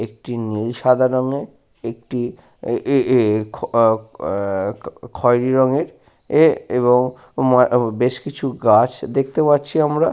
একটি নীল সাদা রঙের একটি এ-এ-এ-আ-আ খয়েরি রঙের এ-এ এবং বেশ কিছু গাছ দেখতে পাচ্ছি আমরা।